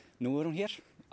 nú er hún hér á